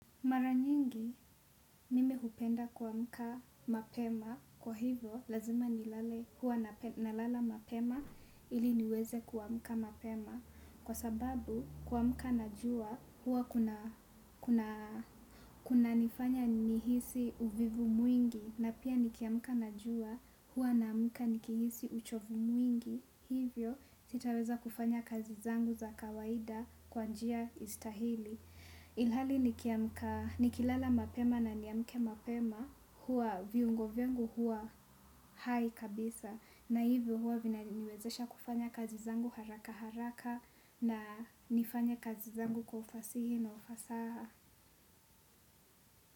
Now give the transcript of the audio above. Mara nyingi mimi hupenda kuamka mapema kwa hivyo lazima nilale huwa nalala mapema ili niweze kuamka mapema kwa sababu kuamka najua huwa kunanifanya nihisi uvivu mwingi na pia nikiamka na jua huwa naamka nikihisi uchovu mwingi hivyo sitaweza kufanya kazi zangu za kawaida kwa njia istahili. Ilhali nikilala mapema na niamke mapema huwa viungo vyangu huwa hai kabisa na hivyo huwa vinaniwezesha kufanya kazi zangu haraka haraka na nifanye kazi zangu kwa ufasihi na ufasaha.